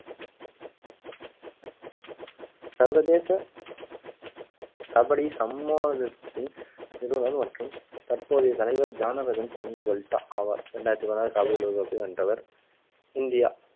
சர்வதேச கபடி நிறுவனம் மற்றும் தற்போதைய தலைவர் ஆவர் ரெண்டாயிரத்தி பதினாறு கபடி உலக கோப்பை வென்றவர் இந்தியா